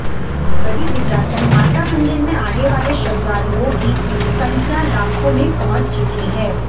बड़ी बिजासन माता मंदिर में आने वाले श्रद्धालुओं की संख्या लाखों में पहुंच चुकी है